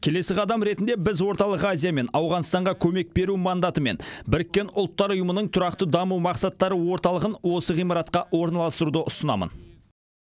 келесі қадам ретінде біз орталық азия мен ауғанстанға көмек беру мандатымен біріккен ұлттар ұйымының тұрақты даму мақсаттары орталығын осы ғимаратқа орналастыруды ұсынамын